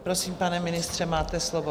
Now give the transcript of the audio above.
Prosím, pane ministře, máte slovo.